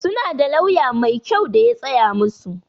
Su na da lauya mai kyau da ya tsaya musu.